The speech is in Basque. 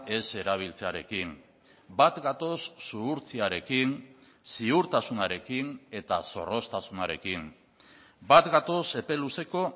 ez erabiltzearekin bat gatoz zuhurtziarekin ziurtasunarekin eta zorroztasunarekin bat gatoz epe luzeko